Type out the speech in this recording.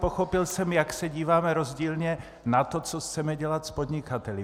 Pochopil jsem, jak se díváme rozdílně na to, co chceme dělat s podnikateli.